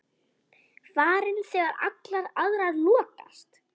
Farin þegar allar aðrar lokast.